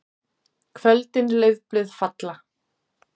KVÖLDIN LAUFBLÖÐ FALLA.